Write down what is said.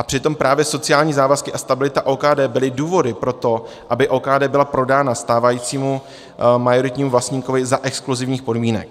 A přitom právě sociální závazky a stabilita OKD byly důvody pro to, aby OKD byla prodána stávajícímu majoritnímu vlastníkovi za exkluzivních podmínek.